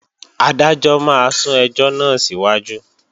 Adájọ́ máa sún ẹjọ́ náà síwájú